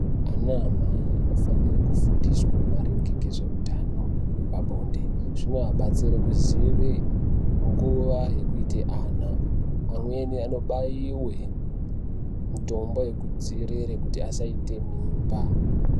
Anamai anofanere kufundiswa maringe ngezveutano wepabonde zvinoabatsire kuziya nguva yekuita ana amweni anobaiwa mitombo yekudzivirira kuti vasaita mimba.